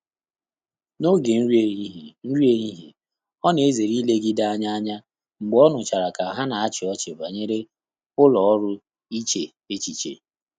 N’ógè nrí éhíhíé, nrí éhíhíé, ọ́ nà-èzéré ílégíde ányá ányá mgbè ọ́ nụ́chàrà kà há nà-àchị́ ọ́chị́ bànyèrè ụ́lọ́ ọ́rụ́ íché échíché.